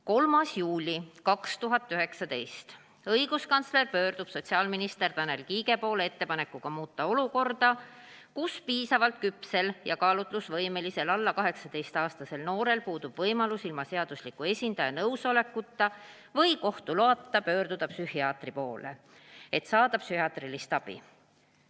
3. juuli 2019 – õiguskantsler pöördub sotsiaalminister Tanel Kiige poole ettepanekuga muuta olukorda, kus piisavalt küpsel ja kaalutlusvõimelisel alla 18-aastasel noorel puudub võimalus ilma seadusliku esindaja nõusolekuta või kohtu loata pöörduda psühhiaatri poole, et saada psühhiaatrilist abi.